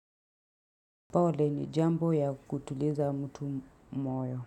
Pole ni jambo ya kutuliza mtu moyo.